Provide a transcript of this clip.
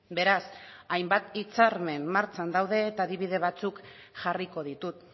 beraz hainbat hitzarmen martxan daude eta adibide batzuk jarriko ditut